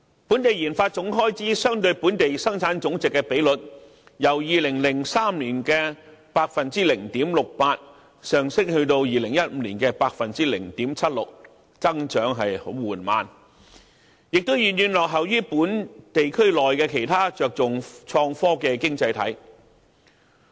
本地研發總開支相對本地生產總值的比率，由2003年的 0.68% 上升至2015年的 0.76%， 增長十分緩慢，亦遠遠落後於本地區內其他着重創科的經濟體。